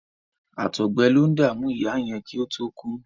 Àtọgbẹ lo ń dàmú ìyá yẹn kí ó tó kú.